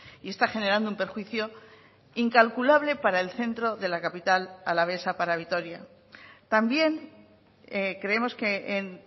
y está generando un perjuicio incalculable para el centro de la capital alavesa para vitoria también creemos que en